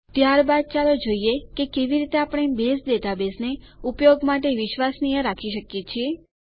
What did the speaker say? ત્યારબાદ ચાલો જોઈએ કે કેવી રીતે આપણે બેઝ ડેટાબેઝને ઉપયોગ માટે વિશ્વસનીય રાખી શકીએ છીએ